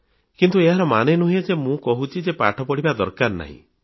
କିନ୍ତୁ ଏହାର ମାନେ ନୁହେଁ ଯେ ମୁଁ କହୁଛି ଯେ ପାଠ ପଢ଼ିବା ଦରକାର ନାହିଁ